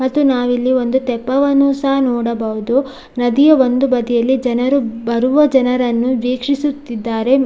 ಮತ್ತು ನಾವಿಲ್ಲಿ ಒಂದು ತೆಪ್ಪವನ್ನು ಸಹ ನೋಡಬಹುದು ನದಿಯ ಒಂದು ಬದಿಯಲ್ಲಿ ಜನರು ಬರುವ ಜನರನ್ನು ವೀಕ್ಷಿಸುತ್ತಿದ್ದಾರೆ.